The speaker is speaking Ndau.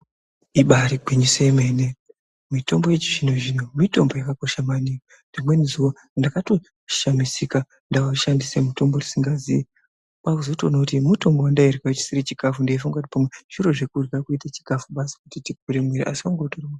Ibari gwinyiso remene mene mitombo yechizvino zvino mitombo yakakosha maningi rimweni zuwa ndakashamisika ndashandisa mutombo wandisingazivi kwakuzotoona kuti mutombo wandairya ndichiti chikafu ndeifunga kuti pamwe zviro zvekurya kuti zviite chikafu basi.